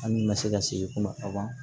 An ka se ka segin kuma ka ban